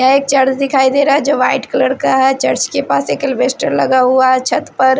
ये एक चर्च दिखाई दे रा है जो वाइट कलर का है चर्च के पास एक अल्बेस्टर लगा हुआ है छत पर--